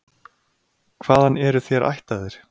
Hvaðan eru þér ættaðir?